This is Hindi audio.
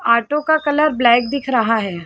ऑटो का कलर ब्लैक दिख रहा हैं ।